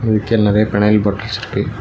விக்க நெறைய phenyl bottles இருக்கு.